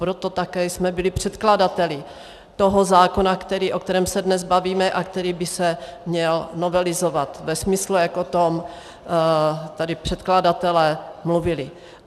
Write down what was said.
Proto také jsme byli předkladateli toho zákona, o kterém se dnes bavíme a který by se měl novelizovat ve smyslu, jak o tom tady předkladatelé mluvili.